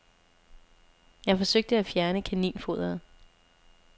Jeg forsøgte at fjerne kaninfoderet.